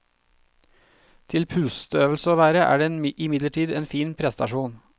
Til pusteøvelse å være er den imidlertid en fin prestasjon.